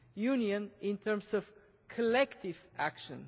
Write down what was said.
Union in terms of collective action.